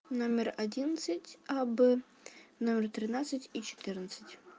номер одиннадцать а б номер тринадцать и четырнадцать